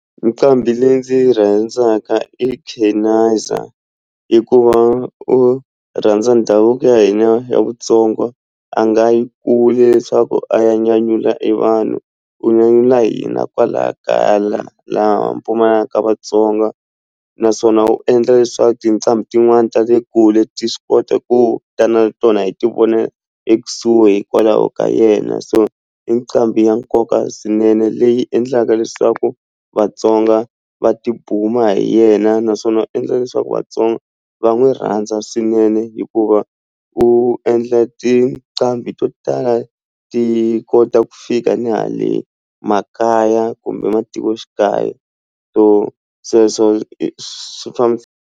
Nqambi leyi ndzi yi rhandzaka i Chenaiza hikuva u rhandza ndhavuko ya hina ya Vutsonga a nga yi kule leswaku a ya nyanyula e vanhu u nyanyula hina kwalaya kaya laha lava Vatsonga naswona u endla leswaku tinqambi tin'wani ta le kule ti swi kota ku ta na tona hi ti vona ekusuhi hikwalaho ka yena so i nqambi ya nkoka swinene leyi endlaka leswaku Vatsonga va ti buma hi yena naswona u endla leswaku Vatsonga va n'wi rhandza swinene hikuva u endla tinqambi to tala ti kota ku fika ni hale makaya kumbe matikoxikaya so sweswo swi .